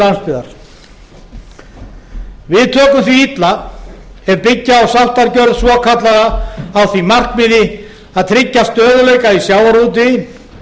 landsbyggðar við tökum því illa ef byggja á sáttargjörð svokallaða á því markmiði að tryggja stöðugleika í sjávarútvegi